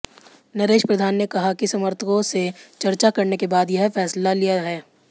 नरेश प्रधान ने कहा कि समर्थकों से चर्चा करने के बाद यह फैसला लिया है